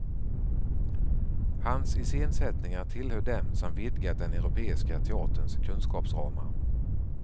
Hans iscensättningar tillhör dem som vidgat den europeiska teaterns kunskapsramar.